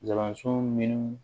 Kalanso minnu